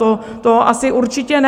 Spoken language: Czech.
To asi určitě ne.